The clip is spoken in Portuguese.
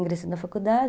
Ingressei na faculdade.